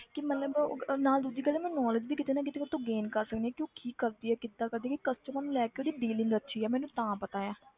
ਕਿ ਮਤਲਬ ਨਾਲ ਦੂਜੀ ਮੈਂ knowledge ਵੀ ਕਿਤੇ ਨਾ ਕਿਤੇ ਉਹ ਤੋ gain ਕਰ ਸਕਦੀ ਹਾਂ ਕਿ ਉਹ ਕੀ ਕਰਦੀ ਹੈ ਕਿੱਦਾਂ ਕਰਦੀ ਹੈ ਕਿ customer ਨੂੰ ਲੈ ਕੇ ਉਹਦੀ dealing ਅੱਛੀ ਹੈ ਮੈਨੂੰ ਤਾਂ ਪਤਾ ਹੈ